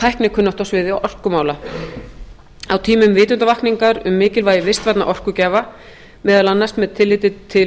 tæknikunnáttu á sviði orkumála á tímum vitundarvakningar um mikilvægi vistvænna orkugjafa meðal annars með tilliti til